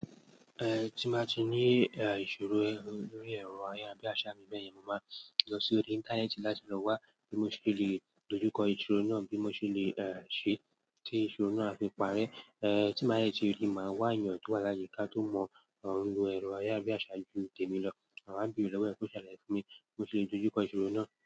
Ẹ̀hn, tí n bá ti ní ìṣòro lórí ẹ̀rọ ayárabíàsà mi bẹ́ yẹn, mo ma ń lọ sórí íńtánẹ́ẹ̀tì láti lọ́wá bí mo ṣe lè dojú kọ ìṣòro náà bí mo ṣe lèṣe tí ìṣòro náà á fi parẹ́. Eh tí máa jẹ́ tí rí, màá wá èèyàn tó wà láyíká tó mọ̀ ẹ̀rọ ayárabíàṣà jù mi tèmi lọ, màá wá bẹ̀ẹ́ẹ lọ́wọ́ kó ṣàlàyé fún mi bí mo ṣe lè dojú kọ ìṣorò náà.